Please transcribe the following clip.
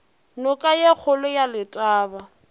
noka ye kgolo ya letaba